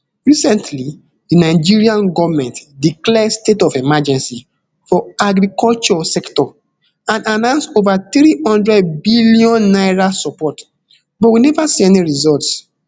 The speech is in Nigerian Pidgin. recently di nigerian goment declare state of emergency for agriculture sector and announce over three hundred billion naira support but we never see any results